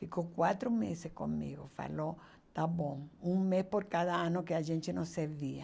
Ficou quatro meses comigo, falou, tá bom, um mês por cada ano que a gente não se via